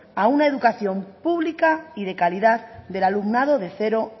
a una educación pública y de calidad del alumnado de cero